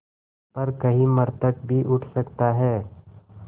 पर कहीं मृतक भी उठ सकता है